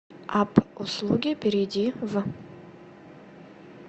апп услуги перейди в